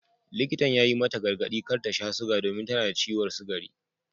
Likitan ya yi mata gargadi kar ta sha suga domin tana da ciwon sugari.